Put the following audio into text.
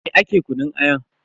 Dame ake kunun aya?